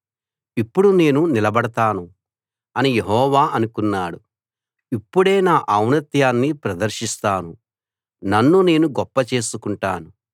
ఇప్పుడు నేను నిలబడతాను అని యెహోవా అనుకున్నాడు ఇప్పుడే నా ఔన్నత్యాన్ని ప్రదర్శిస్తాను నన్ను నేను గొప్ప చేసుకుంటాను